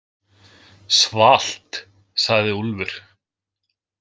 Svalt, sagði Úlfur.